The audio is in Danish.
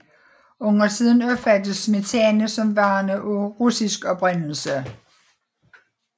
Undertiden opfattes smetana som værende af russisk oprindelse